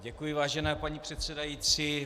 Děkuji, vážená paní předsedající.